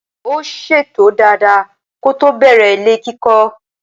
Ó ṣètò dada kótó bẹ̀rẹ̀ ilé kíkọ́.